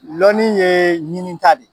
lɔni ye ɲinita de ye.